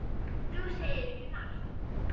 Þú segir ekki margt.